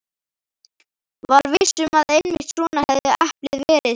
Var viss um að einmitt svona hefði eplið verið sem